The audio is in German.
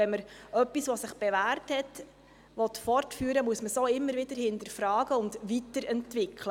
Und wenn man etwas, das sich bewährt hat, fortführen will, muss man es auch immer wieder hinterfragen und weiterentwickeln.